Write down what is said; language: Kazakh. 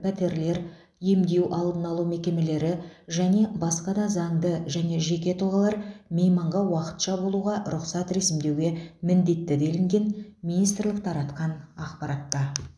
пәтерлер емдеу алдын алу мекемелері және басқа да заңды және жеке тұлғалар мейманға уақытша болуға рұқсат ресімдеуге міндетті делінген министрлік таратқан ақпаратта